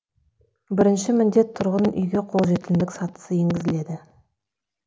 бірінші міндет тұрғын үйге қолжетімділік сатысы енгізіледі